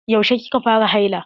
Yaushe kika fara haila?